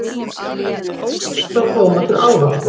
Sko, fyrst var tómatur ávöxtur.